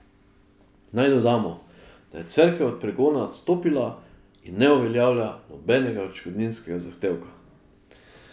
Naj dodamo, da je Cerkev od pregona odstopila in ne uveljavlja nobenega odškodninskega zahtevka.